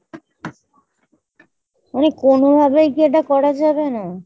মানে কোনোভাবেই কি এটা করা যাবে না ?